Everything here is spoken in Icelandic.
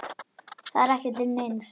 Það er ekki til neins.